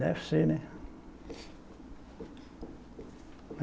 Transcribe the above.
Deve ser, né?